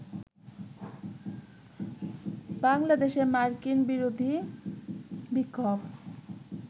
বাংলাদেশে মার্কিন-বিরোধী বিক্ষোভ